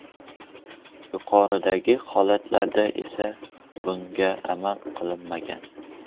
Yuqoridagi holatda esa bunga amal qilinmagan.